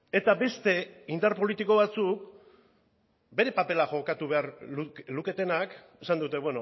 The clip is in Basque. eta beste indar politiko batzuk bere papera jokatu behar luketenak esan dute